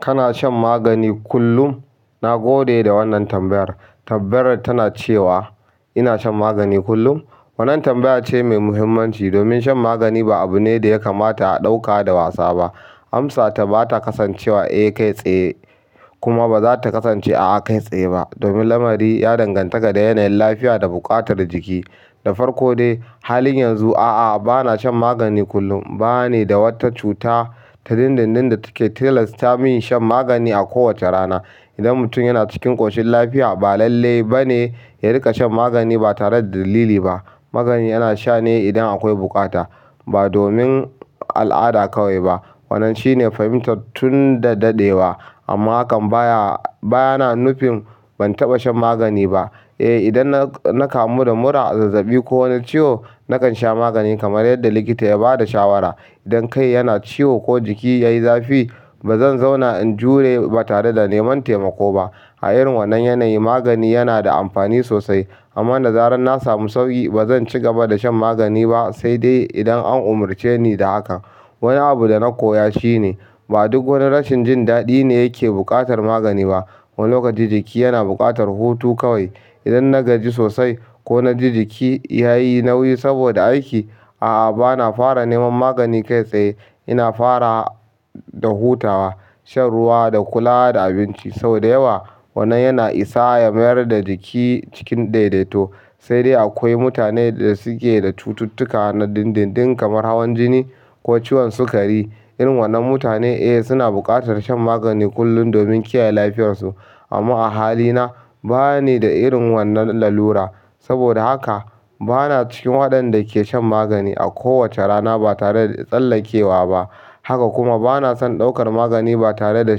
Kana shan magani kullum? Na gode da wannan tambayar. Tambayar tana cewa ina shan magani kullum. Wannan tambaya ce mai muhimmanci domin shan magani ba abu ne da ya kamata a ɗauka da wasa ba. Amsata ba ta kasance wa "Eh kai tsaye" kuma ba za ta kasance "A'a kai tsaye" ba domin lamari ya danganta da yanayin lafiya da buƙatar jiki. Da farko dai, halin yanzu a'a, ba na shan magani kullum. Ba ni da wata cuta ta dindindin da take tilasta min shan magani a kowace rana. Idan mutum yana cikin ƙoshin lafiya, ba lalle ba ne ya riƙa shan magani ba tare da dalili ba. Magani ana sha ne idan akwai buƙata, ba domin al'ada kawai ba. Wannan shine fahimta tun da daɗewa. Amma hakan baya, baya nufin ban taɓa shan magani ba. Eh, idan na kamu da mura, zazzaɓi ko wani ciwo, nakan sha magani kamar yadda likita ya ba da shawara. Idan kai yana ciwo ko jiki ya yi zafi, ba zan zauna in jure ba tare da neman taimako ba. A irin wannan yanayi, magani yana da amfani sosai. Amma zaran na samu sauƙi, ba zan ci gaba da shan magani ba sai dai idan an umarce ni da haka. Wani abu da koya shine ba duk wani rashin jin daɗi ne ke buƙatar magani bah. Wani lokaci jiki yana buƙatar hutu kawai. Idan na gaji sosai ko na ji jiki ya yi nauyi saboda aiki, a'a, ba na fara neman magani kai tsaye. Ina fara da hutawa shan ruwa da kula da abinci saboda da yawa. Wannan yana isa ya mayar da jiki cikin daidaito. Sai dai akwai mutane da suke da cututtuka na dindindin kamar hawan jini ko ciwon sukari. Irin wannan mutane eh suna buƙatar shan magani kullum domin kiyaye lafiyarsu. Amma a halina, ba ni da irin wannan lalura. Saboda haka ba na cikin waɗanda ke shan magani a kowace rana ba tare da tsallakewa ba. Haka kuma ba na son ɗaukar magani ba tare da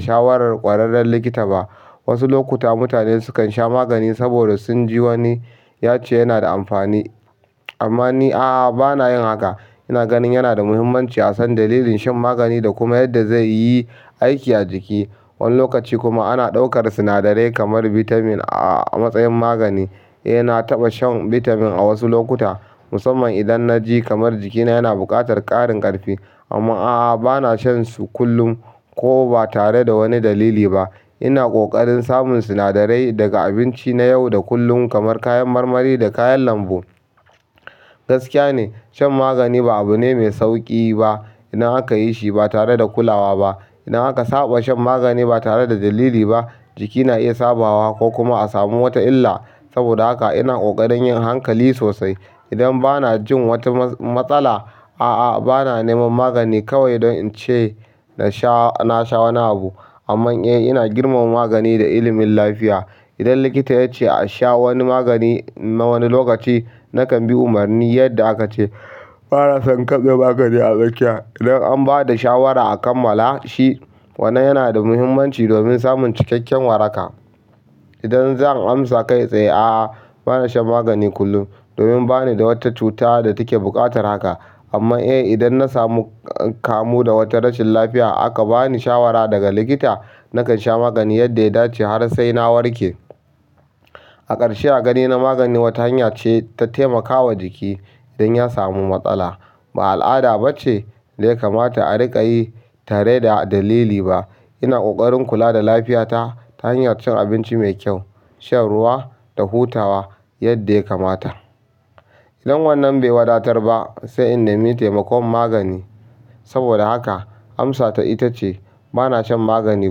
shawarar ƙwararren likita ba. Wasu lokuta mutane sukan sha magani saboda sun ji wani ya ce yana da amfani. Amma ni a'a, ba na yin haka. Ina ganin yana da muhimmanci a san dalilin shan magani da kuma yadda zai yi aiki a jiki. Wani lokaci kuma ana ɗaukar sinadarai kamar bitamin a matsayin magani. Eh, na taɓa shan bitamin a wasu lokuta, musamman idan na ji kamar jikina yana buƙatar ƙarin ƙarfi. Amma aa bana shansu kullum ko ba tare da wani dalili bah ina ƙoƙarin samun sinadarai daga abinci na yau da kullun kamar kayan marmari da kayan lambu. Gaskiya ne, shan magani ba abu ne mai sauƙi ba idan aka yi shi ba tare da kulawa ba. Idan aka saba shan magani ba tare da dalili ba, jiki na iya sabawa ko kuma a samu wata illa. Saboda haka ina ƙoƙarin yin hankali sosai. Idan ba na jin wata matsala, a'a, ba na neman magani kawai don in ce na sha, na sha wani abu. Amma eh, ina girmama magani da ilimin lafiya. Idan likita ya ce a sha wani magani na wani lokaci, nakan bi umarnin yadda aka ce. Ba na son karɓi magani a tsakiya idan an ba da shawara a kammala shi. Wannan yana da muhimmanci domin samun cikakken waraka. Idan zan amsa kai tsaye, a'a, ba na shan magani kullum domin ba ni da wata cuta da take buƙatar haka. Amma eh, idan na samu kamu da wata rashin lafiya aka ba ni shawara daga likita, nakan sha magani yadda ya dace har sai na warke. A ƙarshe, a ganin na magani wata hanya ce ta taimakawa jiki idan ya samu matsala. Ba al'ada ba ce da ya kamata a riƙa yi tare da dalili ba. Ina ƙoƙarin kula da lafiyata ta hanyar cin abinci mai kyau, shan ruwa da hutawa yadda ya kamata. Idan wannan bai wadatar ba, sai in nemi taimakon magani. Saboda haka amsata ita ce ba na shan magani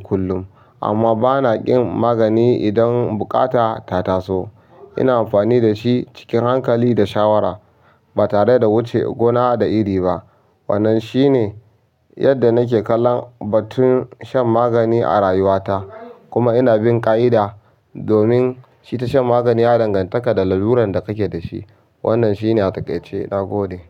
kullum, amma ba na ƙin magani idan buƙata ta taso. Ina amfani da shi cikin hankali da shawara, ba tare da wuce gona da iri ba. Wannan shi ne yadda nake kallon batun shan magani a rayuwata. Kuma ina bin ƙa'ida domin i ta shan magani ya danganta da lalurar da kake da shi. Wannan shi ne a taƙaice. Na gode.